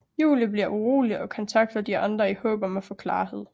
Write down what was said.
Julie bliver urolig og kontakter de andre i håb om at få klarhed